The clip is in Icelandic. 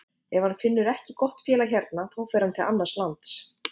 Ef hann finnur ekki gott félag hérna þá fer hann til annars lands.